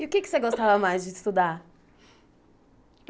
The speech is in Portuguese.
E o que é que você gostava mais de estudar?